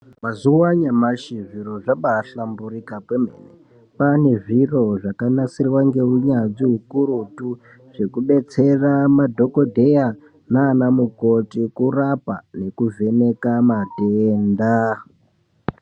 Mazuwa anyamashi zviro zvabaahlamburika kwemene kwaane zviro zvakanasirwa ngeunyanzvi ukurutu zvekubetsera madhokodheya naanamukoti kurapa nekuvheneka matenda.